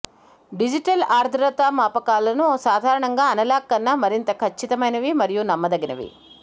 digital ఆర్ద్రతామాపకాలను సాధారణంగా analogue కన్నా మరింత ఖచ్చితమైనవి మరియు నమ్మదగినవి